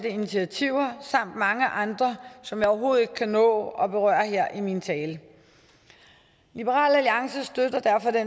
initiativer samt mange andre som jeg overhovedet ikke kan nå at berøre her i min tale liberal alliance støtter derfor det